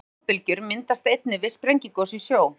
Slíkar flóðbylgjur myndast einnig við sprengigos í sjó.